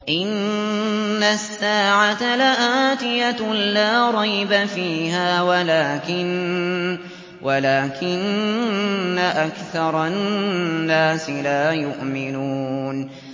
إِنَّ السَّاعَةَ لَآتِيَةٌ لَّا رَيْبَ فِيهَا وَلَٰكِنَّ أَكْثَرَ النَّاسِ لَا يُؤْمِنُونَ